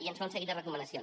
i ens fa un seguit de recomanacions